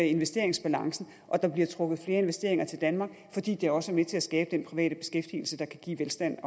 investeringsbalancen og der bliver trukket flere investeringer til danmark fordi det også er med til at skabe den private beskæftigelse der kan give velstand